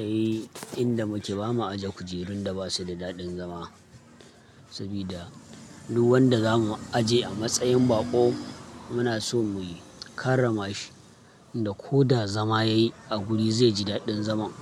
Ai, inda muke ba ma aje kujerun da basu da daɗin zama, sabida duk wanda za mu aje a matsayin baƙo muna so mu yi karrama shi. Inda ko da zama ya yi a guri zai ji daɗin zaman.